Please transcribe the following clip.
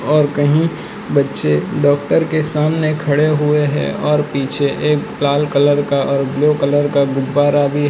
और कहीं बच्चे डॉक्टर के सामने खड़े हुए हैं और पीछे एक लाल कलर का और ब्लू कलर का गुब्बारा भी है।